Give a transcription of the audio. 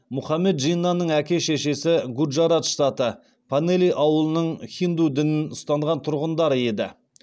мұхаммед джиннаның әке шешесі гуджарат штаты панели ауылының хинду дінін ұстанған тұрғындары еді